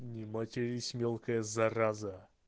не матерись мелкая зараза